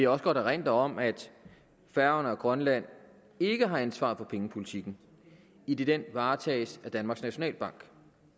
også godt erindre om at færøerne og grønland ikke har ansvaret for pengepolitikken idet den varetages af danmarks nationalbank